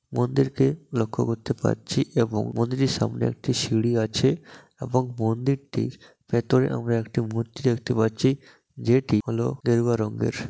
মন্দিরকে লক্ষ্য করতে পারছি এবং মন্দিরের সামনে একটি সিঁড়ি আছে এবং মন্দিরটির ভেতরে আমরা একটি মূর্তি দেখতে পাচ্ছি যেটি হল গেরুয়া রঙ্গের।